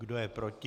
Kdo je proti?